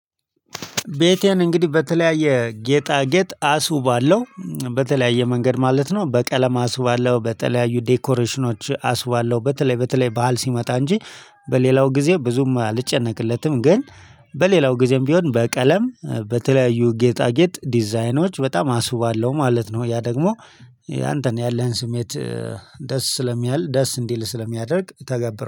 ቤቴን እንግዲህ በተለያየ ጌጣጌጥ አሱባለው በተለያየ መንገድ ማለት ነው በቀለም አሱባለሁ በተለያዩ ዴኮሬሽኖች አስባለሁ በተለይ በተለይ ባህል ሲመጣ እንጂ በሌላው ጊዜ ብዙም አልጨነቅለትም ግን በሌላው ጊዜም ቢሆን በቀለም በተለያዩ ጌጣጌጥ ዲዛይኖች በጣም አስውባለሁ ማለት ነው። ያ ደግሞ ያንተን ያለህን ስሜት ደስ ስለሚያል ደስ እንዲል ስለሚያደርግ ተገብረዋ